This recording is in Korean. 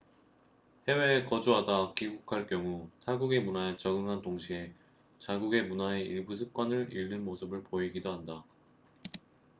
해외에 거주하다 귀국할 경우 타국의 문화에 적응한 동시에 자국의 문화의 일부 습관을 잃는 모습을 보이기도 한다